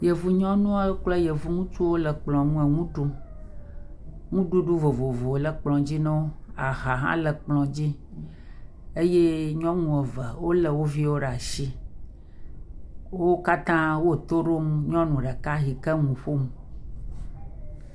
Yevu nyɔnuawo kple yevu ŋutsuawo le kplɔ ŋu le nu ɖum, nuɖuɖu vovovowo le kplɔ dzi na wo, aha hã le kplɔ dzi nawo eye nyɔnu eve wolé wo viwo ɖe asi, wo katã wole to ɖom nyɔnu ɖeka yi le nu ƒom.